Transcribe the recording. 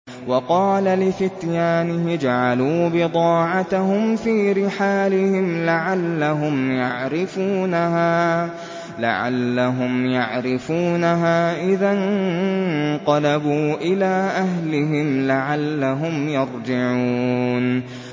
وَقَالَ لِفِتْيَانِهِ اجْعَلُوا بِضَاعَتَهُمْ فِي رِحَالِهِمْ لَعَلَّهُمْ يَعْرِفُونَهَا إِذَا انقَلَبُوا إِلَىٰ أَهْلِهِمْ لَعَلَّهُمْ يَرْجِعُونَ